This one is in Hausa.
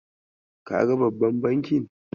Kaga babban bankin?